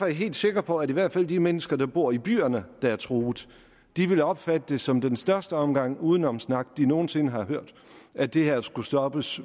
jeg helt sikker på at i hvert fald de mennesker der bor i de byer der er truet vil opfatte det som den største omgang udenomssnak de nogen sinde har hørt at det her skulle stoppes